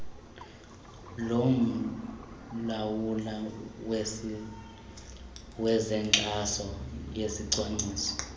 lomlawuli wezenkxaso yesicwangciso